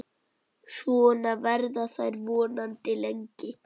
Svona verða þær vonandi lengi.